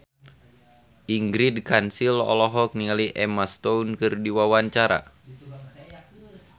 Ingrid Kansil olohok ningali Emma Stone keur diwawancara